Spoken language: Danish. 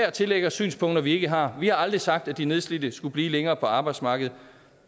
at tillægge os synspunkter vi ikke har vi har aldrig sagt at de nedslidte skulle blive længere på arbejdsmarkedet